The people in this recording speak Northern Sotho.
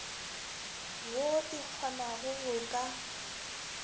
woo e kgonago go ka